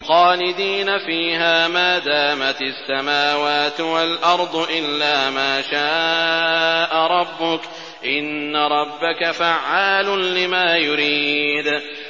خَالِدِينَ فِيهَا مَا دَامَتِ السَّمَاوَاتُ وَالْأَرْضُ إِلَّا مَا شَاءَ رَبُّكَ ۚ إِنَّ رَبَّكَ فَعَّالٌ لِّمَا يُرِيدُ